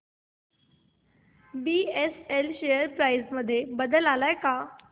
BSL share price मध्ये बदल आलाय का